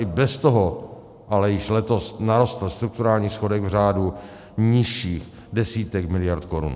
I bez toho ale již letos narostl strukturální schodek v řádu nižších desítek miliard korun.